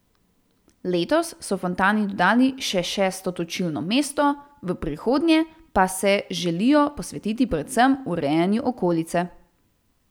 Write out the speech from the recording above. Letos so fontani dodali še šesto točilno mesto, v prihodnje pa se želijo posvetiti predvsem urejanju okolice.